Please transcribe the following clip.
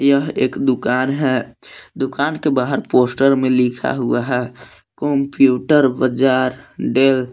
यह एक दुकान है दुकान के बाहर पोस्टर में लिखा हुआ है कंप्यूटर बाजार डेल